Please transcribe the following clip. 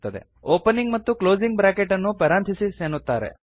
opening ಮತ್ತು closing bracket ಅನ್ನು parenthesis ಎನ್ನುತ್ತಾರೆ